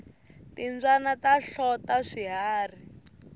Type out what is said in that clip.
timbyana ta hlota swiharhi